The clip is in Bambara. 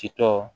Titɔ